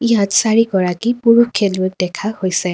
ইয়াত চাৰিগৰাকী পুৰুষ খেলুৱৈক দেখা গৈছে।